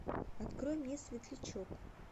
открой мне светлячок